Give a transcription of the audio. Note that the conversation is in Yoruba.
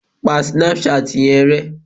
Pa Snapchat yẹn rẹ!